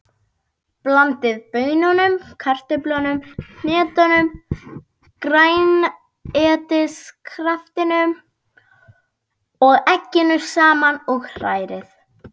Blandið baununum, kartöflunum, hnetunum, grænmetiskraftinum og egginu saman og hrærið.